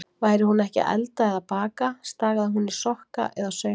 Væri hún ekki að elda eða baka, stagaði hún í sokka eða saumaði.